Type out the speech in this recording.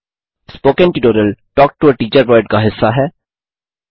spoken tutorial talk to a teacher project का हिस्सा है